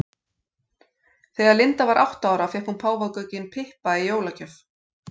Þegar Linda var átta ára fékk hún páfagaukinn Pippa í jólagjöf.